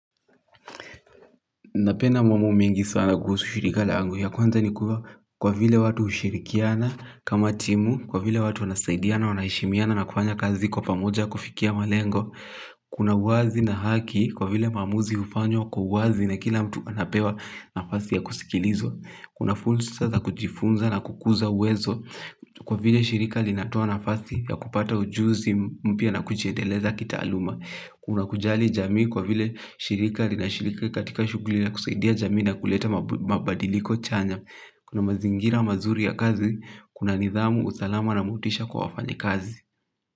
Napenda mambo mingi sana kuhusu shirika langu ya kwanza ni kuwa kwa vile watu hushirikiana kama timu, kwa vile watu wanasaidiana, wanaheshimiana na kufanya kazi kwa pamoja kufikia malengo. Kuna uwazi na haki kwa vile maamuzi hufanywa kwa uwazi na kila mtu anapewa nafasi ya kusikilizwa. Kuna fursa za kujifunza na kukuza uwezo kwa vile shirika linatoa nafasi ya kupata ujuzi mpya na kujiendeleza kitaaluma. Kuna kujali jamii kwa vile shirika linashirika katika shughuli ya kusaidia jamii na kuleta mabadiliko chanya. Kuna mazingira mazuri ya kazi, kuna nidhamu, usalama na motisha kwa wafanyikazi.